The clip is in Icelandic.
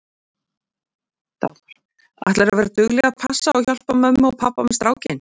Dagmar: Ætlarðu að vera dugleg að passa og hjálpa mömmu og pabba með strákinn?